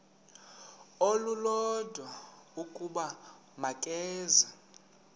olulodwa ukuba makeze